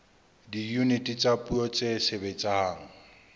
diyuniti tsa puo tse sebetsang